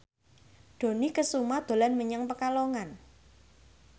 Dony Kesuma dolan menyang Pekalongan